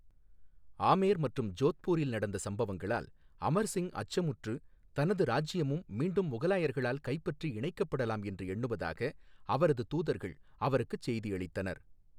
ஆமேர் மற்றும் ஜோத்பூரில் நடந்த சம்பவங்களால் அமர் சிங் அச்சமுற்று தனது ராஜ்யமும் மீண்டும் முகலாயர்களால் கைப்பற்றி இணைக்கப்படலாம் என்று எண்ணுவதாக அவரது தூதர்கள் அவருக்குச் செய்தியளித்தனர்.